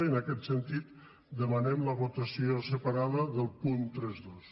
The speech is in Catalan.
i en aquest sentit demanem la votació separada del punt trenta dos